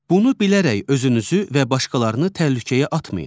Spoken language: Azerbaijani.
Bunu bilərək özünüzü və başqalarını təhlükəyə atmayın.